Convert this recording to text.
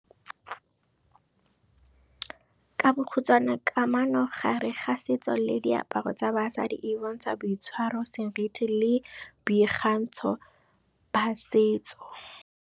Ka bokhutswane kamano gare ga setso le diaparo tsa basadi e bontsha boitshwaro, seriti le boikgantsho ba setso.